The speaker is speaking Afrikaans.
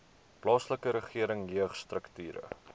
plaaslike regering jeugstrukture